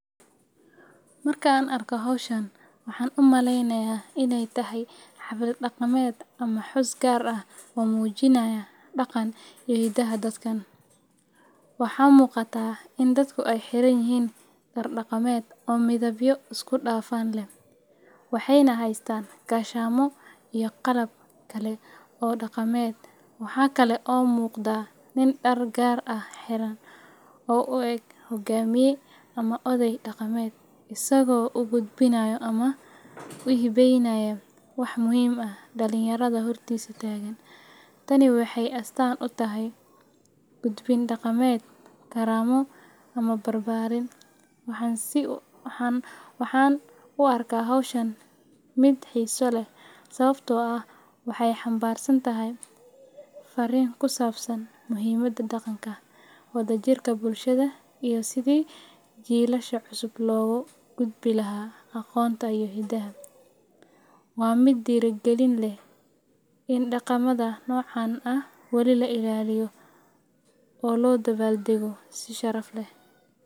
Markaan arko hawshaan waxaan u maleynayaa in ay tahay xaflad dhaqameed, sababtoo ah dadku waxay xiranyihiin dhar dhaqameedyo qurux badan oo midabo badan leh. Waxaa la maqlayaa heeso iyo ciyaaro dhaqameedyo soo jireen ah oo dadka isugu keenaya farxad iyo isku xirnaan. Xafladaha noocan ah waxay muhiim u yihiin ilaalinta hidaha iyo dhaqanka, waxayna dadka ka caawiyaan inay xusuustaan asalkooda iyo taariikhdooda. Intaa waxaa dheer, cunnooyinka dhaqameed ee la soo bandhigayo ayaa sidoo kale qayb ka ah madashan, taas oo ka dhigaysa xaflada mid dhameystiran oo soo jiidasho leh. Sidaas darteed, markaan arko hawshaan, si cad ayaan u fahmaa in ay tahay xaflad dhaqameed oo lagu xusayo dhaqankeena iyo wadajirka bulshada.